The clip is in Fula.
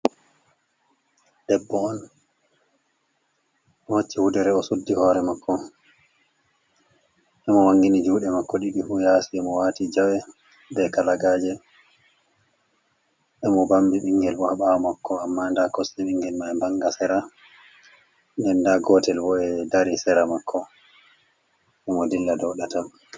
Debbo on waatii wudere o suddi hoore mako mo wangini juuɗe mako ɗiɗi fu yaasi, mo wati jawe be kalagaje emo bambi ɓingel bo ha ɓaawo mako amma nda kosɗe ɓingel mai vanga sera nden nda gotel bo e dari sera mako emo dilla dou ɗatal.